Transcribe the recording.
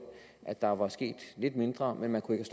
at der var sket lidt mindre men man kunne ikke